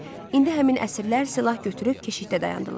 İndi həmin əsirlər silah götürüb keşiyə dayandılar.